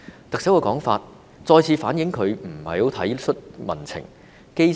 特首的說法，再次反映她不太體恤民情。